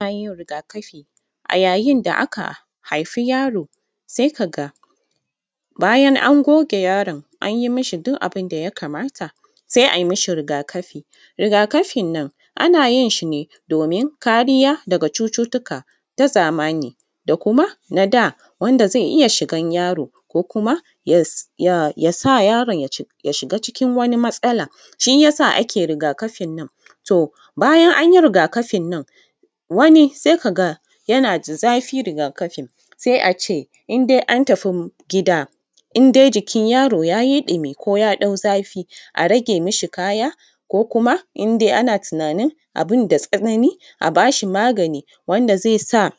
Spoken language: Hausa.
Bayin yin riga kafi a yayin da aka haifi yaro sai kaga bayan an goge yaron an yi mishi duk abun da ya kamata ai mashi riga kafi, riga kafin nan ana yin shi domin kariya daga cututtuka ta zamani da kuma na da wanda za ya iya shigan yaron ko kuma ya sa yaron ya shiga cikin wani matsala shi yasa ake riga kafin nan, to bayan an yi riga kafin nan wani sai kaga yana da zafi riga kafin sai a ce in dai an tafi gida in dai jikin yaro yayi ɗumi ko ya ɗan yi zafi a rage mashi kaya ko kuma in dai ana tunanin abun da tsanani a bashi maganiwanda zai sa